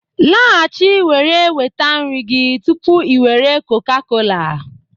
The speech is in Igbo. Laghachi were nweta nri gị tupu i were Coca-cola